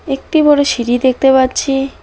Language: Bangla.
একটি বড় সিঁড়ি দেখতে পাচ্ছি।